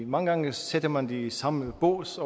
mange gange sætter man det i samme bås